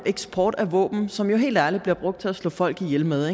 eksport af våben som jo helt ærligt bliver brugt til at slå folk ihjel med